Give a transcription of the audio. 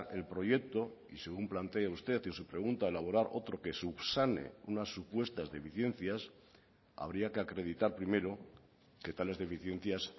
el proyecto y según plantea usted en su pregunta elaborar otro que subsane unas supuestas deficiencias habría que acreditar primero que tales deficiencias